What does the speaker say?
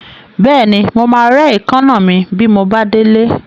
Bẹ́ẹ̀ni, mo máa rẹ́ èékánná mi bí mo bá délé.